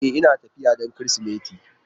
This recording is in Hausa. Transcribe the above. E, Ina tafiya don Kirsimeti.